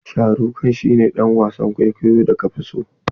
Sharukh khan shi ne dan wasan kwaikwayon da ka fi so?